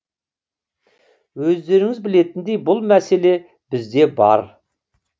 өздеріңіз білетіндей бұл мәселе бізде бар